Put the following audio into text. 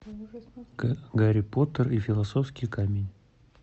гарри поттер и философский камень